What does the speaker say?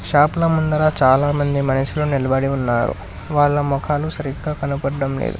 షాపుల ముందర చాలా మంది మనిషులు నిలబడి ఉన్నారు వాళ్ళ మొఖాలు సరిగ్గా కనబడ్డం లేదు